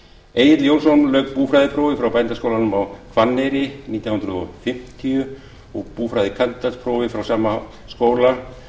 egill jónsson lauk búfræðiprófi frá bændaskólanum á hvanneyri nítján hundruð fimmtíu og búfræðikandídatsprófi frá sama skóla